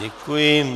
Děkuji.